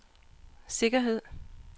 sikkerhed